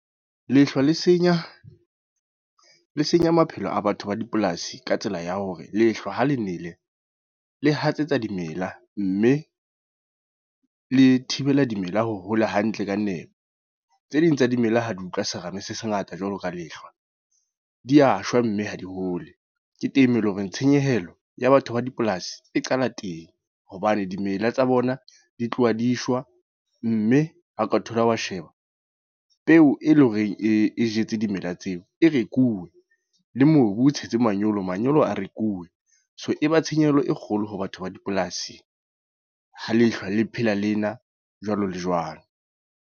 Lehlwa le senya, le senya maphelo a batho ba dipolasi. Ka tsela ya hore, lehlwa ho le nele, le hatsetsa dimela. Mme le thibela dimela ho hola hantle ka nepo. Tse ding tsa dimela ha di utlwa serame se se ngata jwalo ka lehlwa. Di ya shwa, mme ha di hole. Ke teng moo eleng hore tshenyehelo ya batho ba dipolasi e qala teng. Hobane dimela tsa bona di tloha di shwa. Mme ha o ka thola wa sheba, peo e leng horeng e jetse dimela tseo e rekuwe. Le mobu, o tshetse manyolo, manyolo a rekuwe. So e ba tshenyehelo e kgolo ho batho ba dipolasi. Ha lehlwa le phela lena jwalo le jwalo.